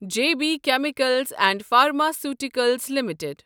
J B chemicals and pharmaceuticals limited